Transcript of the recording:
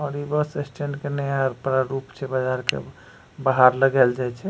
और इ bus stand के नया प्रारूप छै बाजार के बाहर लगायल जाए छै।